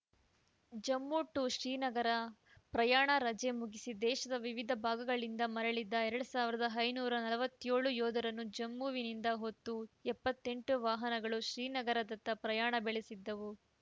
Jammu to Srinagar ಪ್ರಯಾಣ ರಜೆ ಮುಗಿಸಿ ದೇಶದ ವಿವಿಧ ಭಾಗಗಳಿಂದ ಮರಳಿದ್ದ ಎರಡ್ ಸಾವಿರದ ಐನೂರ ನಲವತ್ಯೋಳು ಯೋಧರನ್ನು ಜಮ್ಮುವಿನಿಂದ ಹೊತ್ತು ಎಪ್ಪತ್ತೆಂಟು ವಾಹನಗಳು ಶ್ರೀನಗರದತ್ತ ಪ್ರಯಾಣ ಬೆಳೆಸಿದ್ದವು